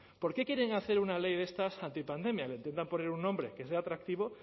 por qué quieren hacer una ley de estas antipandemia le intentan poner un nombre que sea atractivo